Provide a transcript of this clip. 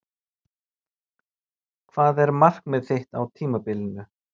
Hvað er markmið þitt á tímabilinu?